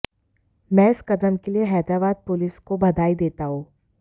मैं इस कदम के लिए हैदराबाद पुलिस को बधाई देता हूं